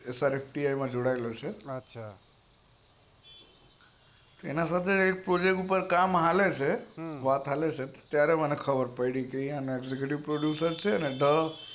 જોડાયેલો છે એના સાથે વાત ચાલે છે અને એ ઢ માં જોડાયેલો છે ત્યારે મને ખબર પડી